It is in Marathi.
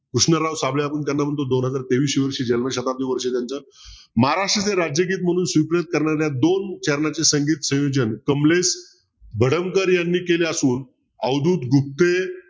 कृष्णराव साबळे आपण त्याना म्हणतो दोन हजार तेवीश्या वर्षी जन्म शताब्दी वर्ष त्यांचं महाराष्ट्राचे राज्यगीत म्हणून करणाऱ्या दोन चरणाचे संगीत संयोजन कमलेश भडंकर यांनी केले असून अवधूत गुप्ते